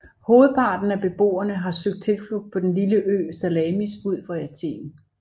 Hovedparten af beboerne har søgt tilflugt på den lille ø Salamis ud for Athen